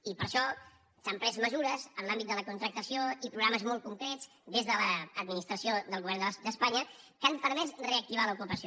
i per això s’han pres mesures en l’àmbit de la contractació i programes molt concrets des de l’administració del govern d’espanya que han permès reactivar l’ocupació